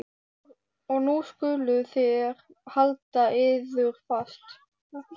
Og nú skuluð þér halda yður fast